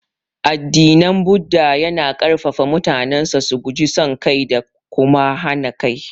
Addinin Buddah yana ƙarfafa mutanensa su guji son kai da kuma hana kai.